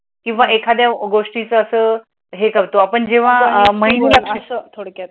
किंवा एखाद्या गोष्टीचा असं हे करतो आपण जेव्हा